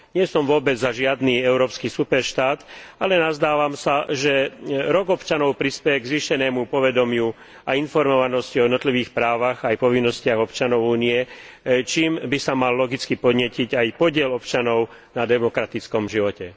Nie som vôbec za žiadny európsky superštát, ale nazdávam sa, že Európsky rok občanov prispeje k zvýšenému povedomiu a informovanosti o jednotlivých právach aj povinnostiach občanov Únie, čím by sa mal logicky podnietiť aj podiel občanov na demokratickom živote.